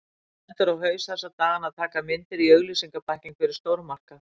Stendur á haus þessa dagana að taka myndir í auglýsingabækling fyrir stórmarkað.